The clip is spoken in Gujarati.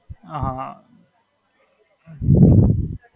હાં.